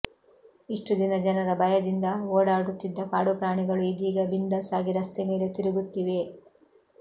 ಇಷ್ಟು ದಿನ ಜನರ ಭಯದಿಂದ ಓಡಾಡುತ್ತಿದ್ದ ಕಾಡು ಪ್ರಾಣಿಗಳು ಇದೀಗ ಬಿಂದಾಸಾಗಿ ರಸ್ತೆಮೇಲೆ ತಿರುಗುತ್ತಿವೆ